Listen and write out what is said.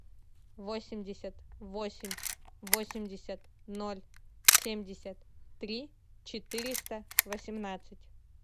восемьдесят восемь восемьдесят ноль семьдесят три четыреста восемнадцать